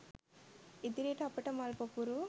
ඉදිරියට අපට මල් පොකුරු